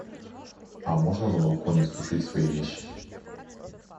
а можно на балконе сушить свои вещи